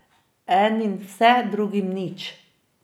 Enim vse, drugim nič.